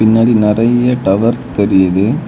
பின்னாடி நறைய டவர்ஸ் தெரியுது.